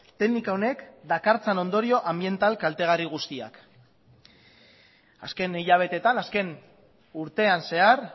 teknika honek dakartzan ondorio anbiental kaltegarri guztiak azken hilabeteetan azken urtean zehar